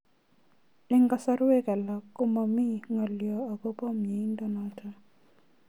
Eng'kasarwek alak ko mami ng'alyo akopo miondo notok